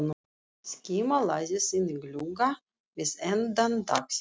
Skíma læðist inn um glugga við enda gangsins.